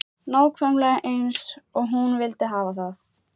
Nákvæmlega eins og hún vildi hafa það.